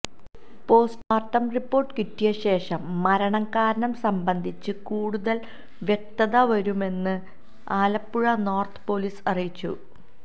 postmortem report കിട്ടിയ ശേഷം മരണകാരണം സംബന്ധിച്ച് കൂടുതൽ വ്യക്തതവരുമെന്ന് ആലപ്പുഴ നോർത്ത് പൊലീസ് അറിയിച്ചു